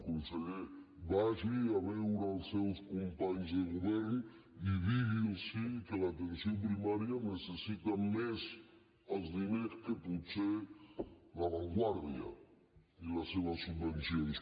conseller vagi a veure els seus companys de govern i digui’ls que l’atenció primària necessita més els diners que potser la vanguardia i les seves subvencions